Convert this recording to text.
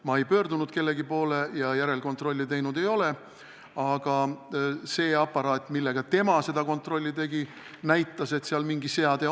Ma ei pöördunud kellegi poole ja järelkontrolli teinud ei ole, aga see aparaat, millega tema seda kontrolli tegi, näitas, et seal mingi seade on.